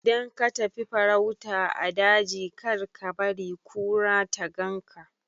Idan ka tafi farauta a daji kar kabari kura ta ganka